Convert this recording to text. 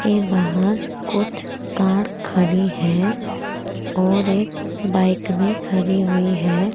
ये बाहर कुछ कार खड़ी हैं और एक बाइक भी खड़ी हुई है।